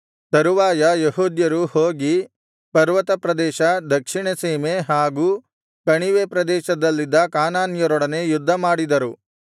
ತರುವಾಯ ಯೆಹೂದ್ಯರು ಹೋಗಿ ಪರ್ವತಪ್ರದೇಶ ದಕ್ಷಿಣಸೀಮೆ ಹಾಗೂ ಕಣಿವೆ ಪ್ರದೇಶಗಳಲ್ಲಿದ್ದ ಕಾನಾನ್ಯರೊಡನೆ ಯುದ್ಧಮಾಡಿದರು